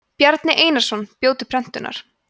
bjarni einarsson bjó til prentunar